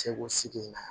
Segu sigi in na